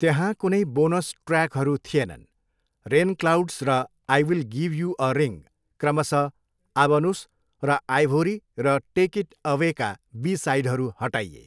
त्यहाँ कुनै बोनस ट्र्याकहरू थिएनन्, रेनक्लाउड्स र I will give you a ring, क्रमशः आबनुस र आइभोरी र टेक इट अवेका बी साइडहरू हटाइए।